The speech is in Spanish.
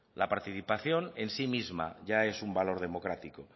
la participación en sí misma ya es un valor democrático